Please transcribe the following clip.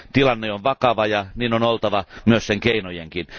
Tilanne on vakava ja niin oltava myös sen keinojenkin.